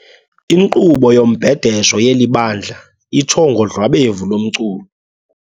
Inkqubo yombhedesho yeli bandla itsho ngodlwabevu lomculo.